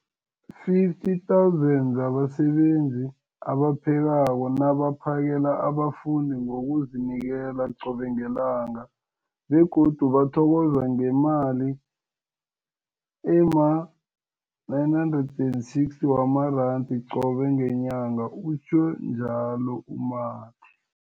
50 000 zabasebenzi abaphekako nabaphakela abafundi ngokuzinikela qobe ngelanga, begodu bathokozwa ngemali ema-960 wamaranda qobe ngenyanga, utjhwe njalo u-Mathe.